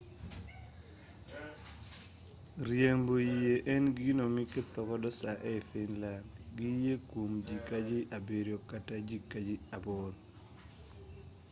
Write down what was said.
riembo yie en gino mikethogodo saa ei finland gi yie kuom ji ka ji abiryo kata ji ka ji aboro